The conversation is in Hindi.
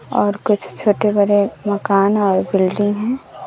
और कुछ छोटे बड़े मकान और बिल्डिंग है।